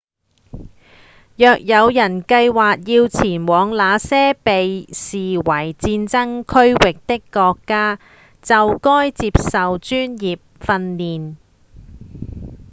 若有人計畫要前往那些被視為戰爭區域的國家就該接受專業訓練